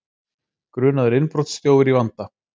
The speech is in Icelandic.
Grunaður innbrotsþjófur í vanda